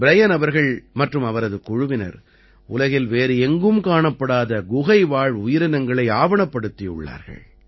Brian அவர்கள் மற்றும் அவரது குழுவினர் உலகில் வேறு எங்கும் காணப்படாத குகைவாழ் உயிரினங்களை ஆவணப்படுத்தியுள்ளார்கள்